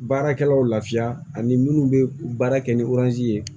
Baarakɛlaw lafiya ani minnu bɛ baara kɛ ni ye